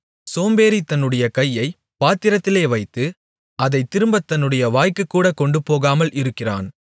சோம்பேறி தன்னுடைய கையை பாத்திரத்திலே வைத்து அதைத் திரும்பத் தன்னுடைய வாய்க்குகூட கொண்டுபோகாமல் இருக்கிறான்